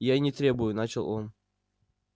я и не требую начал он